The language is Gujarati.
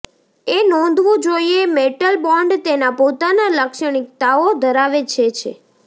એ નોંધવું જોઇએ મેટલ બોન્ડ તેના પોતાના લાક્ષણિકતાઓ ધરાવે છે છે